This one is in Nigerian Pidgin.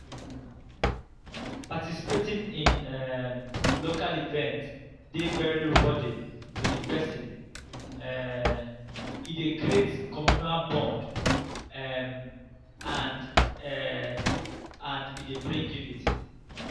participating in um local event dey very rewarding to person um e dey create communal bond um and bond um and e dey bring unity